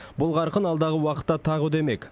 бұл қарқын алдағы уақытта тағы үдемек